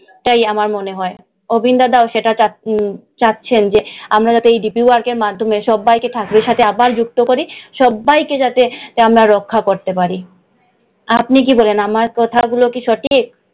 তাই আমার মনে হয়। অবিন দাদাও সেটা চাচ্ছেন যে আমরা যাতে এই dp work এর মাধ্যমে সব্বাই কে ঠাকুরের সাথে আবার যুক্ত করি, সব্বাই কে যাতে আমরা রক্ষা করতে পারি। আপনি কি বলেন, আমার কথাগুলো কি সঠিক?